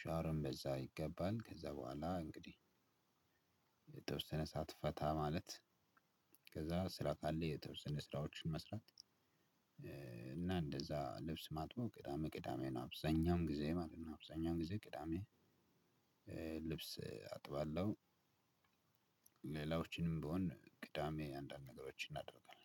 ሻወርም በዛ ይገባል ከዛ በኋላ እንግዲህ የተወሰነ ሰዓት ፈታ ማለት። ከዛ ስራ ካለ የተወሰነ ስራዎችን መስራት። እና እንደዛ ልብስ ማጥበው ቅዳሜ ቅዳሜ ነው አብዛኛውን ጊዜ ማለት ነው። አብዛኛውን ጊዜ ቅዳሜ ልብስ አጥባለሁ። ሌላዎችንም ብሆን ቅዳሜ አንዳንድ ነገሮችን እናደርጋለን።